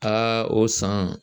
Aa o san.